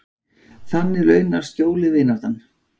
Þannig launað skjólið, vináttan.